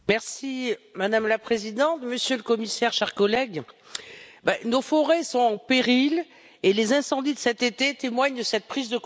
Madame la Présidente, monsieur le Commissaire, chers collègues, nos forêts sont en péril et les incendies de cet été témoignent de cette prise de conscience.